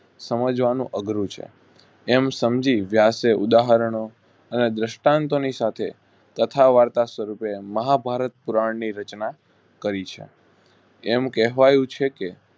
સમજવાનું અઘરું છે. એમ સમજી વ્યાસે ઉદાહરણો અને દ્રસ્ટાનટોની સાથે કથા વાર્તા શરું કરી મહાભારત પૂરાં ની રચના કરી છે. એમ કહેવાયું છે કે